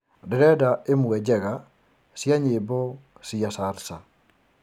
ndĩrendaĩmwe njega cĩa nyĩmbo cĩa salsa